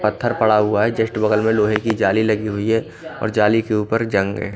पत्थर पड़ा हुआ है जस्ट बगल में लोहे की जाली लगी हुई है और जाली के ऊपर जंग हैं।